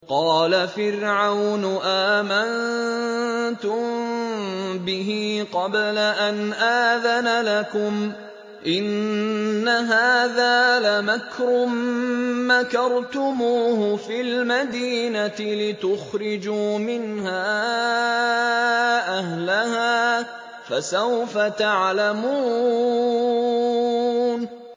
قَالَ فِرْعَوْنُ آمَنتُم بِهِ قَبْلَ أَنْ آذَنَ لَكُمْ ۖ إِنَّ هَٰذَا لَمَكْرٌ مَّكَرْتُمُوهُ فِي الْمَدِينَةِ لِتُخْرِجُوا مِنْهَا أَهْلَهَا ۖ فَسَوْفَ تَعْلَمُونَ